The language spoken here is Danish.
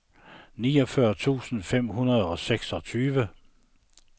niogfyrre tusind fem hundrede og seksogtyve